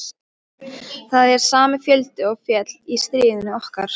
Það er sami fjöldi og féll í stríðinu okkar.